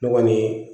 Ne kɔni